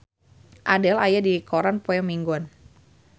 Adele aya dina koran poe Minggon